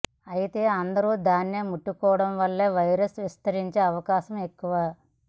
అయితే అందరూ దాన్నే ముట్టుకోవడం వల్ల వైరస్ విస్తరించే అవకాశం ఎక్కువ